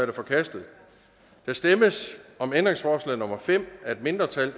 er forkastet der stemmes om ændringsforslag nummer fem af et mindretal